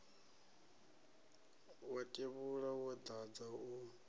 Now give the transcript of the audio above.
wa tevhula wo dadza u